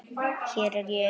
Hér er ég ein.